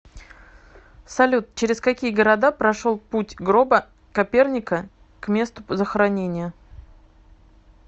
салют через какие города прошел путь гроба коперника к месту захоронения